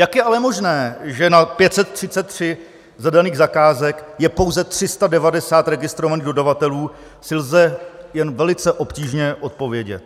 Jak je ale možné, že na 533 zadaných zakázek je pouze 390 registrovaných dodavatelů, si lze jen velice obtížně odpovědět.